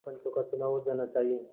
पंचों का चुनाव हो जाना चाहिए